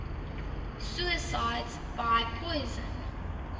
suicides by poison